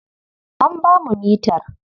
An ba mu mitar.